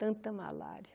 Tanta malária.